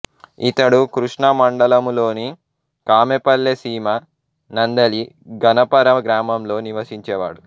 ఇతడు కృష్ణా మండలములోని కామెపల్లెసీమ నందలి గణపర గ్రామంలో నివసించేవాడు